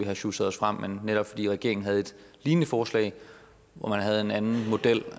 har sjusset os frem netop fordi regeringen havde et lignende forslag hvor man havde en anden model